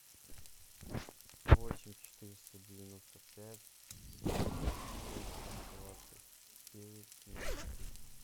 восемь четыреста девяносто пять пятьсот шесть двадцать девять ноль три